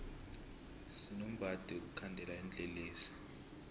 sinombadi wokukhandela tinlelesi